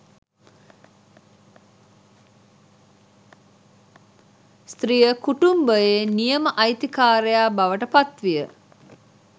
ස්ත්‍රිය කුටුම්භයේ නියම අයිතිකාරයා බවට පත් විය